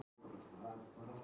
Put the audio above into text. Það er best fyrir okkur öll.